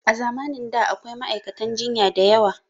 A zamanin da da akwai ma'aikata jinya diyawa